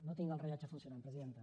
no tinc el rellotge funcionant presidenta